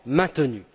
maintenu.